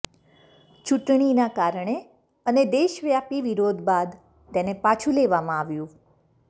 ચૂંટણીના કારણે અને દેશવ્યાપી વિરોધ બાદ તેને પાછું લેવામાં આવ્યું